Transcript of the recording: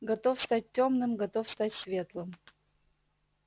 готов стать тёмным готов стать светлым